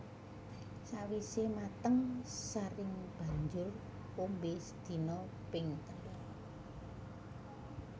Sawisé mateng saring banjur ombe sedina ping telu